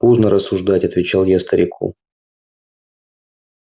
поздно рассуждать отвечал я старику